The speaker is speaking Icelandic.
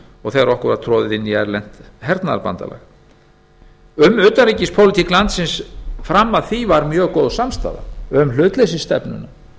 og þegar okkur var troðið inn í erlent hernaðarbandalag um utanríkispólitík landsins fram að því var mjög góð samstaða um hlutleysisstefnuna